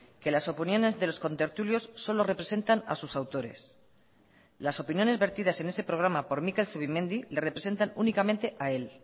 que las opiniones de los contertulios solo representan a sus autores las opiniones vertidas en ese programa por mikel zubimendi le representan únicamente a él